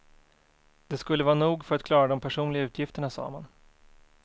Det skulle vara nog för att klara de personliga utgifterna, sa man.